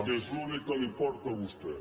que és l’únic que li importa a vostè